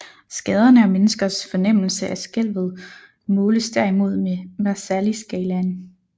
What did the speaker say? Skaderne og menneskers fornemmelse af skælvet måles derimod med Mercalliskalaen